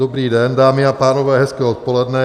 Dobrý den, dámy a pánové, hezké odpoledne.